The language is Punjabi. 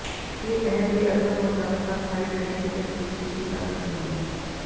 ਜੇ ਇਹ ਬੇਅਸਰ ਹੋ ਜਾਵੇ ਤਾਂ ਸਥਾਈ ਡਰੇਨੇਜ਼ ਦੀ ਤਜਵੀਜ਼ ਕੀਤੀ ਜਾ ਸਕਦੀ ਹੈ